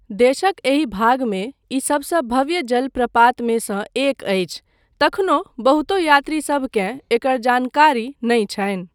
देशक एहि भागमे ई सबसँ भव्य जलप्रपातमे सँ एक अछि तखनो बहुतो यात्रीसभकेँ एकर जानकारी नहि छनि।